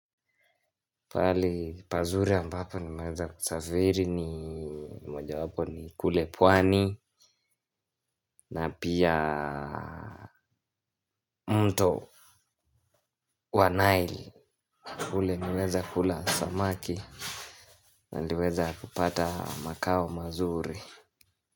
Pali pazuri ambapo nimeweza kusafiri ni moja wapo ni kule pwani na pia mto wanaili ule niweza kula samaki naliweza kupata makao mazuri.